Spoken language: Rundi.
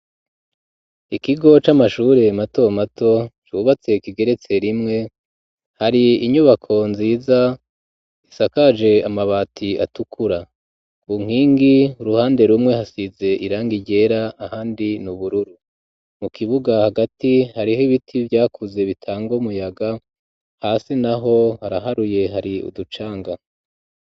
Ikigo c'amashure mato mato cubatse kigeretse rimwe hari inyubako nziza isakaje amabati atukura ku nkingi uruhande rumwe hasize irangi ryera ahandi n'ubururu mu kibuga hagati hariho ibiti vyakuze bitanga umuyaga hasi naho haraharuye hari uducanga.